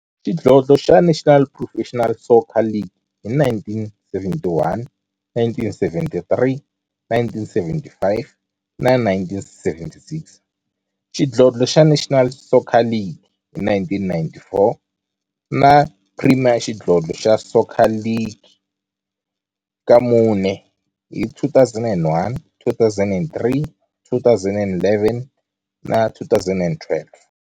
Xidlodlo xa National Professional Soccer League hi 1971, 1973, 1975 na 1976, xidlodlo xa National Soccer League hi 1994, na Premier Xidlodlo xa Soccer League ka mune, hi 2001, 2003, 2011 na 2012.